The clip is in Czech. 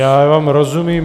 Já vám rozumím.